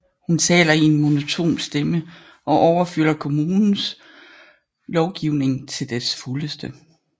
Hun taler i en monoton stemme og overfylder kommunens lovgivning til dets fuldeste